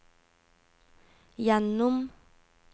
gjennom